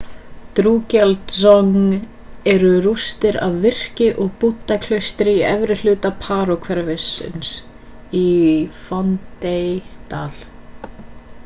drukgyal dzong eru rústir af virki og búddaklaustur í efri hluta paro-hverfisins í phondey-dal